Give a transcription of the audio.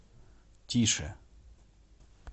тише